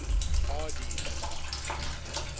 hardee's